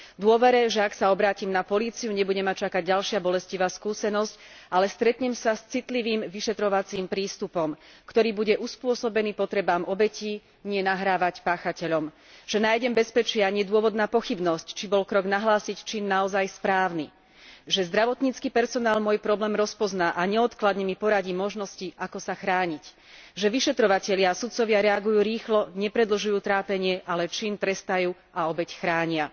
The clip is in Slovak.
V dôvere, že ak sa obrátim na políciu, nebude ma čakať ďalšia bolestivá skúsenosť, ale stretnem sa s citlivým vyšetrovacím prístupom, ktorý bude uspôsobený potrebám obetí, nie nahrávať páchateľom, že nájdem bezpečie a nie dôvod na pochybnosť, či bol krok nahlásiť čin naozaj správny, že zdravotnícky personál môj problém rozpozná a neodkladne mi poradí možnosti, ako sa chrániť, že vyšetrovatelia a sudcovia reagujú rýchlo, nepredlžujú trápenie, ale čin trestajú a obeť chránia.